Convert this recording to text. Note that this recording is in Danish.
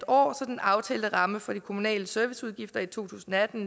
år så den aftalte ramme for de kommunale serviceudgifter i to tusind og atten